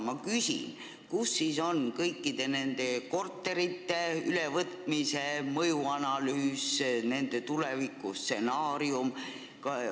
Ma küsin, kus siis on kõikide nende korterite ülevõtmise mõjuanalüüs, nende tuleviku stsenaarium.